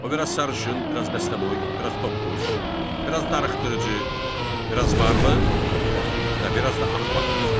O biraz sarışın, biraz bəstəboy, biraz topbuş, biraz darıxdırıcı, biraz varlı və biraz da axmaq qızı idi.